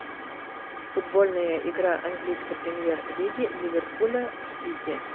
футбольная игра английской премьер лиги ливерпуля с сити